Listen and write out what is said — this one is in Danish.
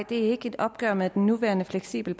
det er ikke et opgør med den nuværende fleksible